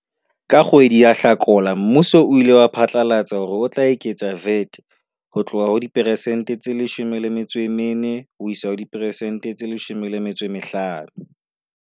Ka kgwedi ya Hlakola mmuso o ile wa phatlalatsa hore o tla eketsa VAT ho tloha ho diperesente tse 14 ho isa ho diperesente tse 15.